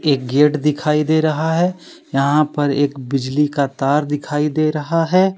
एक गेट दिखाई दे रहा है यहाँ पर एक बिजली का तार दिखाई दे रहा है।